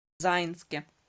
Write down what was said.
заинске